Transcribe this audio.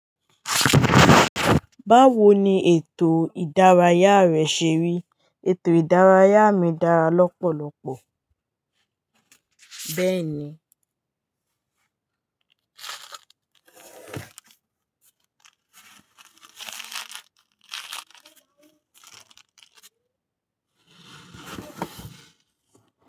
Báwo ni ètò ìdárayá rẹ ṣe rí? Ètò ìdárayá mi dára lọ́pọ̀lọ́pọ̀, bẹ́ẹ̀ ni.